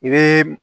I bɛ